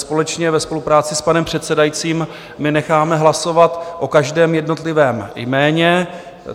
Společně ve spolupráci s panem předsedajícím my necháme hlasovat o každém jednotlivém jméně.